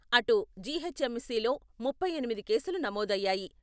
అటు జి.హెచ్.ఎమ్.సిలో ముప్పై ఎనిమిది కేసులు నమోదయ్యాయి.